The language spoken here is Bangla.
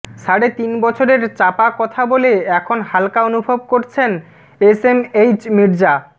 সাড়ে তিন বছরের চাপা কথা বলে এখন হাল্কা অনুভব করছেন এসএমএইচ মির্জা